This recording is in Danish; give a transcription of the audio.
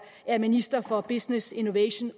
er minister for business innovation